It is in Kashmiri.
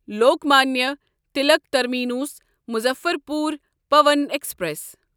Lokmanya Tilak terminus Muzaffarpur Pawan express